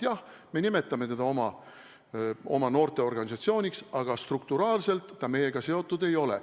Jah, me nimetame teda oma noorteorganisatsiooniks, aga struktuuriliselt ta meiega seotud ei ole.